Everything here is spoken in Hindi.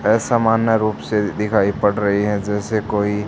यह सामान्य रूप से दिखाई पड़ रहीं हैं जैसे कोई--